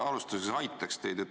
Ma alustuseks aitaks teid.